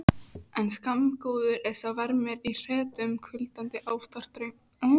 En skammgóður er sá vermir í hretum kulnandi ástardrauma.